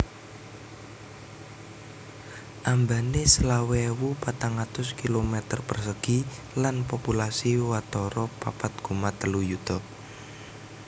Ambané selawe ewu patang atus kilometer persegi lan populasi watara papat koma telu yuta